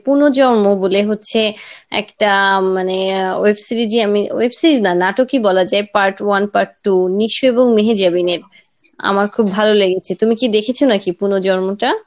পুনর্জন্ম বলে হচ্ছে একটা মানে আহ web series ই আমি , web series না নাটকই বলা যায় part one part two, Nisho এবং মেহেজাবিনের আমার খুব ভালো লেগেছে তুমি কি দেখেছ নাকি পুনর্জন্মটা?